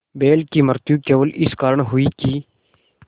बैल की मृत्यु केवल इस कारण हुई कि